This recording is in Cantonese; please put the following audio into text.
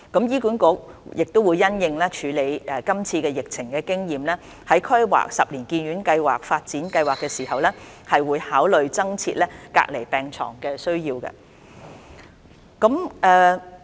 醫管局亦會因應處理是次疫情的經驗，在規劃十年醫院發展計劃時，考慮增設隔離病床的需要。